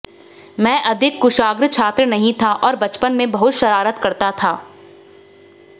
मैं अधिक कुशाग्र छात्र नहीं था और बचपन में बहुत शरारत करता था